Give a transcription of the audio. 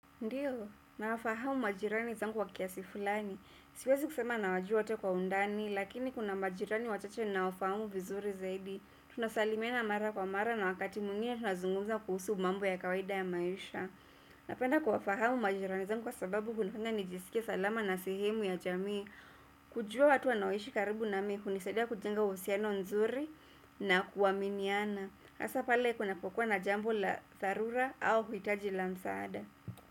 Ndiyo, nawafahamu majirani zangu kwa kiasi fulani. Siwezi kusema nawajua wote kwa undani, lakini kuna majirani wachache nawafahamu vizuri zaidi. Tunasalimiana mara kwa mara na wakati mwingine tunazungumza kuhusu mambo ya kawaida ya maisha. Napenda kuwafahamu majirani zangu kwa sababu kunafanya nijisikie salama na sehemu ya jamii. Kujua watu wanaoishi karibu na mimi, hunisaidia kujenga uhusiano mzuri na kuaminiana. Haswa pale kunapokuwa na jambo la dharura au uhitaji la msaada.